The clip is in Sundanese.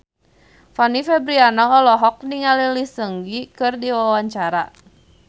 Fanny Fabriana olohok ningali Lee Seung Gi keur diwawancara